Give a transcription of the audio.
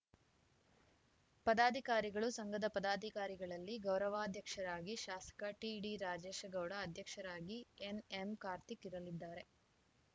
ಪದಾಧಿಕಾರಿಗಳು ಸಂಘದ ಪದಾಧಿಕಾರಿಗಳಲ್ಲಿ ಗೌರವಾಧ್ಯಕ್ಷರಾಗಿ ಶಾಸಕ ಟಿಡಿ ರಾಜೇಶ ಗೌಡ ಅಧ್ಯಕ್ಷರಾಗಿ ಎನ್‌ಎಂ ಕಾರ್ತೀಕ್‌ ಇರಲಿದ್ದಾರೆ